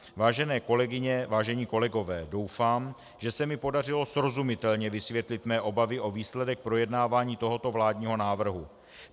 Vážené kolegyně, vážení kolegové, doufám, že se mi podařilo srozumitelně vysvětlit své obavy o výsledek projednávání tohoto vládního návrhu.